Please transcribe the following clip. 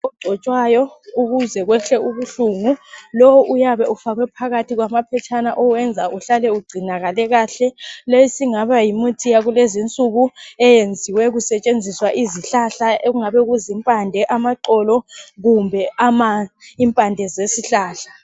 Okugcotshwayo ukuze kuyehle ubuhlungu lo uyabe ufakwe phakathi kwama phetshana owenza uhlale ugcinakale kahle leyi sokungaba yimithi yakulezi insuku eyenziwe kusetshenziswa izihlahla ekungabe kuzimpande amaxolo kumbe impande zezihlahla